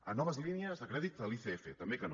a noves línies de crèdit de l’icf també que no